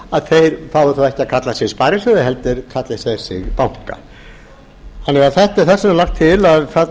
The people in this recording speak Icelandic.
á fái þá ekki að kalla sig sparisjóði heldur kalli þeir sig banka þess vegna er lagt til að þarna